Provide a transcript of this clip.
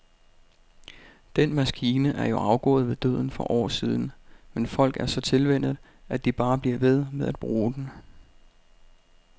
Den maskine er jo afgået ved døden for år siden, men folk er så tilvænnet, at de bare bliver ved med at bruge den.